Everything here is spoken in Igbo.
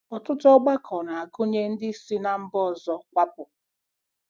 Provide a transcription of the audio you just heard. Ọtụtụ ọgbakọ na-agụnye ndị si ná mba ọzọ kwapụ.